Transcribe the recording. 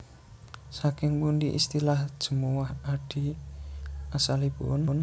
Saking pundi istilah Jemuwah Adi asalipun